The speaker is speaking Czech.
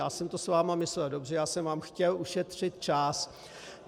Já jsem to s vámi myslel dobře, já jsem vám chtěl ušetřit čas.